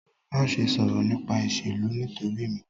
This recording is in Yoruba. Maṣe sọrọ nipa iṣelu nitosi mi!